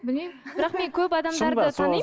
білмеймін бірақ мен көп адамдарды